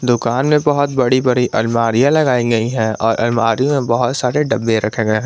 दुकान में बहुत बड़ी बड़ी अलमारियां लगाई गई हैं और अलमारी में बहुत सारे डब्बे रखे गए हैं।